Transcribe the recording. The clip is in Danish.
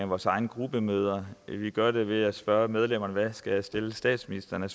vores egne gruppemøder vi gør det ved at spørge medlemmerne hvilke spørgsmål jeg skal stille statsministeren